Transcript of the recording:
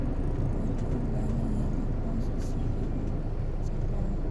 Dadku waxay u baahan yihiin aqoonsi si ay u safraan.